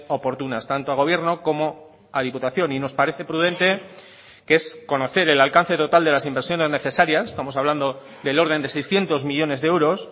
oportunas tanto al gobierno como a diputación y nos parece prudente que es conocer el alcance total de las inversiones necesarias estamos hablando del orden de seiscientos millónes de euros